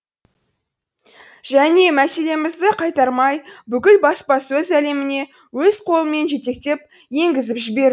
және меселімізді қайтармай бүкіл баспасөз әлеміне өз қолымен жетектеп енгізіп жібер